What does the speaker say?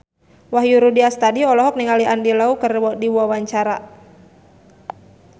Wahyu Rudi Astadi olohok ningali Andy Lau keur diwawancara